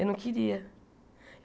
Eu não queria.